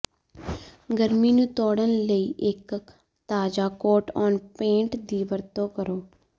ਗਰਮੀ ਨੂੰ ਜੋੜਨ ਲਈ ਇੱਕ ਤਾਜ਼ਾ ਕੋਟ ਔਨ ਪੇਂਟ ਦੀ ਵਰਤੋਂ ਕਰੋ